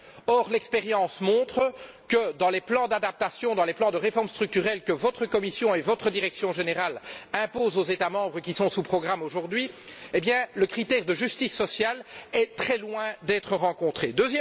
Or, l'expérience montre que, dans les plans d'adaptation, dans les plans de réforme structurelle que votre Commission et votre direction générale imposent aux États membres qui sont aujourd'hui sous programme, le critère de justice sociale est très loin d'être respecté.